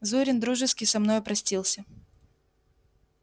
зурин дружески со мною простился